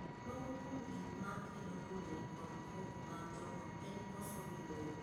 Moko kuom gik ma kelo tungni kod koko mag joot en koso winjruok.